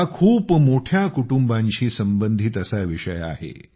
हा खूप मोठ्या कुटुंबांशी संबंधित असा विषय आहे